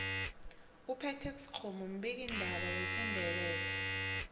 upetex kgomu mbiki ndaba wesindebele